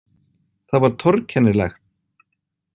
Það var torkennilegt.